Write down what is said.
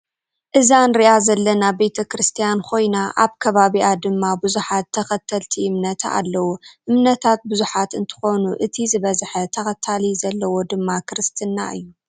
እዛ እንሪኣ ዘለና ቤተክርስትያን ኮይና ኣብ ከባቢኣ ድማ ብዙሓት ተከተልቲ እምነታ ኣለው። እምነታት ብዙሓት እንትኮኑ እቲ ዝበዘሐ ተከታሊ ዘለዎ ድማ ክርስትና እዩ።